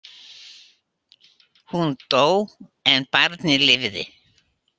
Hún dó en barnið lifði.